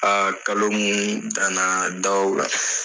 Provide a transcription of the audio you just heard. A kalo mun na na da o la.